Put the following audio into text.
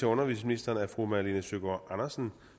undervisningsministeren af fru malene søgaard andersen